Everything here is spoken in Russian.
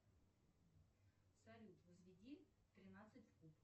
салют возведи тринадцать в куб